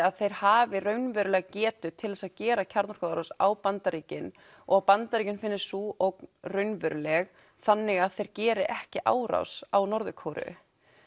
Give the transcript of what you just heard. að þeir hafi raunverulega getu til að gera kjarnorkuárás á Bandaríkin og Bandaríkin finnist sú ógn raunveruleg þannig að þeir geri ekki árás á Norður Kóreu